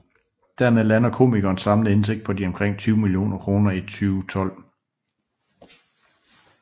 Dermed lander komikerens samlede indtægt på omkring de 20 millioner kroner i 2012